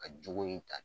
Ka jogo in ta